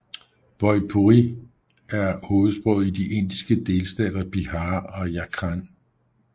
Bhojpuri er hovedsproget i de indiske delstater Bihar og Jharkhand